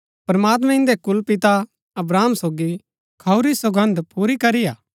प्रमात्मैं इन्दै कुलपिता अब्राहम सोगी खाऊरी सौगन्द पूरी करी हा